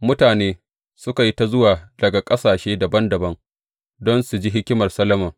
Mutane suka yi ta zuwa daga ƙasashe dabam dabam don su ji hikimar Solomon.